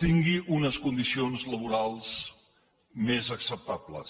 tingui unes condicions laborals més acceptables